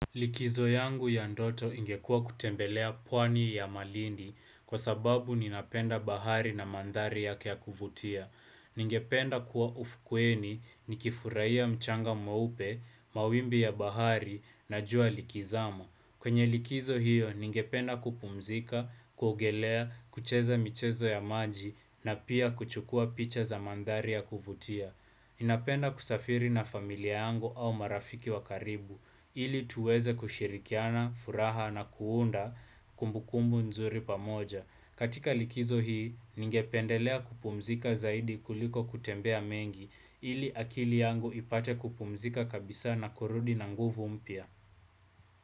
Likizo yangu ya ndoto ingekuwa kutembelea pwani ya malindi kwa sababu ninapenda bahari na mandhari yake ya kuvutia. Ningependa kuwa ufukweni ni kifurahia mchanga mweupe, mawimbi ya bahari na jua likizama. Kwenye likizo hiyo ningependa kupumzika, kuogelea, kucheza michezo ya maji na pia kuchukua picha za mandhari ya kuvutia. Ninapenda kusafiri na familia yangu au marafiki wakaribu, ili tuweze kushirikiana, furaha na kuunda kumbukumbu nzuri pamoja. Katika likizo hii, ningependelea kupumzika zaidi kuliko kutembea mengi, ili akili yangu ipate kupumzika kabisa na kurudi na nguvu mpya.